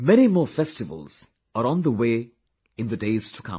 Many more festivals are on the way in the days to come